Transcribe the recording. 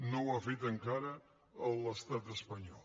no ho ha fet encara l’estat espanyol